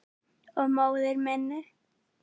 Og móður minni.